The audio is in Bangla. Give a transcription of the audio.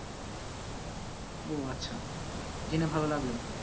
ও আচ্ছা জেনে ভালো লাগলো